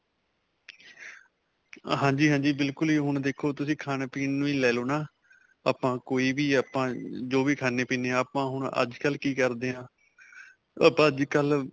ਹਾਂਜੀ, ਹਾਂਜੀ. ਬਿਲਕੁਲ ਹੀ ਹੁਣ ਦੇਖੋ ਤੁਸੀਂ ਖਾਣ-ਪੀਣ ਨੂੰ ਹੀ ਲੈ ਲੋ ਨਾ. ਆਪਾਂ ਕੋਈ ਵੀ ਆਪਾਂ ਅਅ ਜੋ ਵੀ ਖਾਨ੍ਨੇ-ਪੀਨ੍ਨੇ ਹਾਂ, ਆਪਾਂ ਹੁਣ ਅੱਜ ਕੱਲ ਕੀ ਕਰਦੇ ਆ ਅੱਜ ਕੱਲ